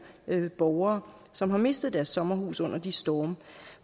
borgere som har mistet deres sommerhus under de storme